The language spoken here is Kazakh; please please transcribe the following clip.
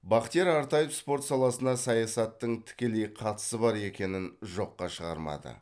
бахтияр артаев спорт саласына саясаттың тікелей қатысы бар екенін жоққа шығармады